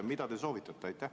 Mida te soovitate?